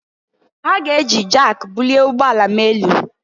Ha ga-eji jak bulie ụgbọ ala m elu